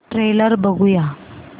trailer बघूया